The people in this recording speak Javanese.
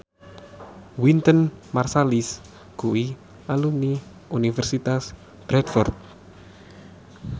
Wynton Marsalis kuwi alumni Universitas Bradford